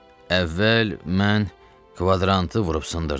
Əvvəl mən kvadrantı vurub sındırdım.